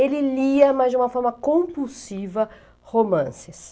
Ele lia, mas de uma forma compulsiva, romances.